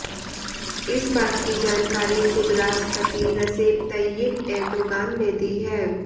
इस बात की जानकारी खुद राष्ट्रपति रसेप तय्यिप एर्दोगान ने दी है